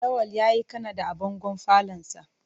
Lawal yayi Kanada a bangon falonsa.